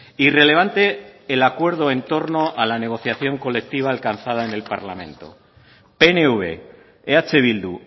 irrelevante el acuerdo en torno a la negociación colectiva alcanzada en el parlamento pnv eh bildu